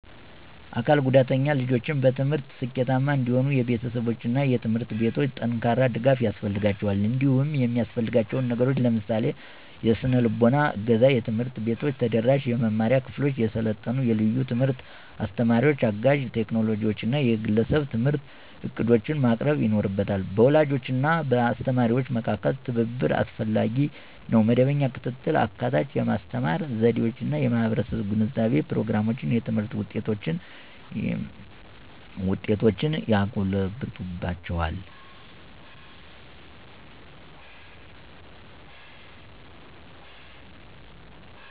አካል ጉዳተኛ ልጆች በትምህርት ስኬታማ እንዲሆኑ የቤተሰቦች እና ትምህርት ቤቶች ጠንካራ ድጋፍ ያስፈልጋቸዋል። እንዲሁም የሚያሰፍልጋችው ነገሮችን ለምሳሌ -; የሰነልቦና እገዛ፣ ትምህርት ቤቶች ተደራሽ የመማሪያ ክፍሎችን፣ የሰለጠኑ የልዩ ትምህርት አስተማሪዎችን፣ አጋዥ ቴክኖሎጂዎችን እና የግለሰብ የትምህርት ዕቅዶችን ማቅረብ ይኖርበታ። በወላጆች እና በአስተማሪዎች መካከል ትብብር አስፈላጊ ነው. መደበኛ ክትትል፣ አካታች የማስተማር ዘዴዎች እና የማህበረሰብ ግንዛቤ ፕሮግራሞች የትምህርት ውጤቶችን ያጎለብትላቸዋል።